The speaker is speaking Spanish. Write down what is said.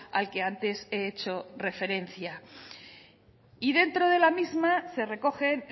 al que antes he hecho referencia y dentro de la misma se recogen